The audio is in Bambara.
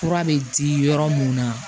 Kura bɛ di yɔrɔ mun na